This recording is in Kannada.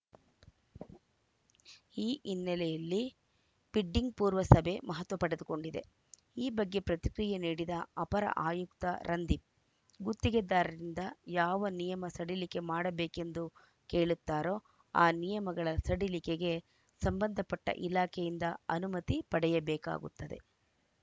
ಈ ಹಿನ್ನೆಲೆಯಲ್ಲಿ ಬಿಡ್ಡಿಂಗ್‌ ಪೂರ್ವ ಸಭೆ ಮಹತ್ವ ಪಡೆದುಕೊಂಡಿದೆ ಈ ಬಗ್ಗೆ ಪ್ರತಿಕ್ರಿಯೆ ನೀಡಿದ ಅಪರ ಆಯುಕ್ತ ರಂದೀಪ್‌ ಗುತ್ತಿಗೆದಾರರಿಂದ ಯಾವ ನಿಯಮ ಸಡಿಲಿಕೆ ಮಾಡಬೇಕೆಂದು ಕೇಳುತ್ತಾರೋ ಆ ನಿಯಮಗಳ ಸಡಿಲಿಕೆಗೆ ಸಂಬಂಧ ಪಟ್ಟಇಲಾಖೆಯಿಂದ ಅನುಮತಿ ಪಡೆಯಬೇಕಾಗುತ್ತದೆ